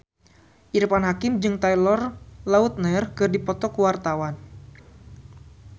Irfan Hakim jeung Taylor Lautner keur dipoto ku wartawan